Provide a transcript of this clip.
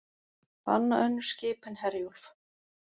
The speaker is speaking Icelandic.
Banna önnur skip en Herjólf